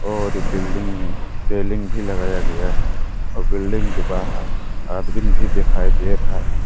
और इस बिल्डिंग में रेलिंग भी लगाया गया है और बिल्डिंग के बाहर आदमीन भी दिखाई दे रहा है।